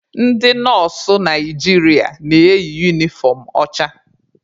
Ndị nọọsụ Naijiria na-eyi unifọm ọcha.